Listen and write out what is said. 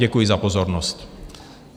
Děkuji za pozornost.